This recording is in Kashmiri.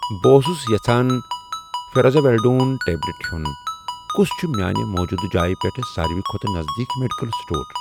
بہٕ اوسُس یژھان فیٛورازولِڈون ٹیبلیٚٹ ہٗٮ۪ۄن، کُس چھُ میانہِ موٗجوٗدٕ جایہِ پٮ۪ٹھ ساروِی کھۄتہٕ نزدیٖک میڈیکل سٹور؟